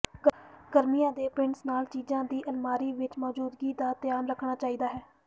ਗਰਮੀਆਂ ਦੇ ਪ੍ਰਿੰਟਸ ਨਾਲ ਚੀਜ਼ਾਂ ਦੀ ਅਲਮਾਰੀ ਵਿੱਚ ਮੌਜੂਦਗੀ ਦਾ ਧਿਆਨ ਰੱਖਣਾ ਚਾਹੀਦਾ ਹੈ